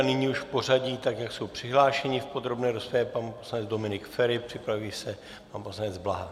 A nyní už v pořadí tak, jak jsou přihlášeni v podrobné rozpravě - pan poslanec Dominik Feri, připraví se pan poslanec Blaha.